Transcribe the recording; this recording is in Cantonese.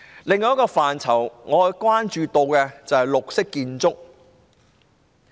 另一個我關注的範疇是綠色建築。